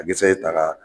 A kisɛ ye tara